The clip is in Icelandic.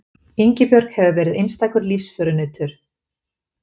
Ingibjörg hefur verið einstakur lífsförunautur.